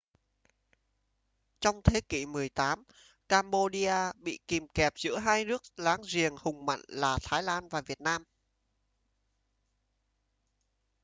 trong thế kỷ 18 cambodia bị kìm kẹp giữa hai nước láng giềng hùng mạnh là thái lan và việt nam